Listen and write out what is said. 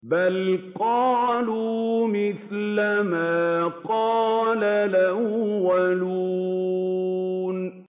بَلْ قَالُوا مِثْلَ مَا قَالَ الْأَوَّلُونَ